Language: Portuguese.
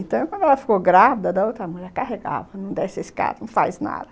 Então, quando ela ficou grávida da outra mulher, carregava, não desce a escada, não faz nada.